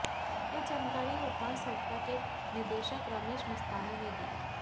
यह जानकारी उत्थान संस्था के निदेशक रमेश मस्ताना ने दी